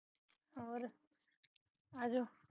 ਹੋਰ ਆਜੋ